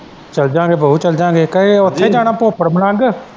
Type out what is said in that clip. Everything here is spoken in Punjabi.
ਚੱਲ ਜਾਗੇ ਬਊ ਚੱਲ ਜਾਗੇ ਕੀ ਉੱਥੇ ਜਾਣਾ ਭੋਗਪੁਰ ਮਲੰਗ।